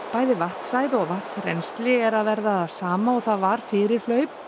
bæði vatnshæð og vatnsrennsli er að verða það sama og það var fyrir hlaup